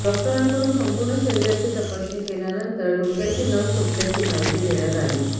डाॅक्टराकडून संपुर्ण शरिराची तपासणी केल्यानंतर डोक्याची नस तुटल्याची माहिती देण्यात आली